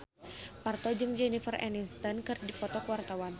Parto jeung Jennifer Aniston keur dipoto ku wartawan